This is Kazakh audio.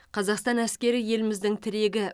қазақстан әскері еліміздің тірегі